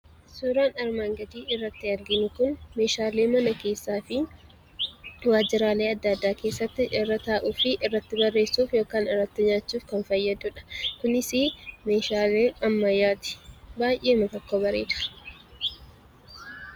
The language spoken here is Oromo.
Suuraan armaan gadiirratti arginu kun meeshaalee mana keessaafi waajjiraalee gara garaa keessatti irra taa'uufi irratti barreessuuf yookaan irratti nyaachuuf kan fayyaduudha. Kunis meeshaalee ammayyaati. Baay'eema tokko bareeda.